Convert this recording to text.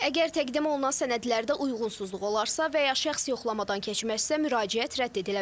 Əgər təqdim olunan sənədlərdə uyğunsuzluq olarsa və ya şəxs yoxlamadan keçməzsə, müraciət rədd edilə bilər.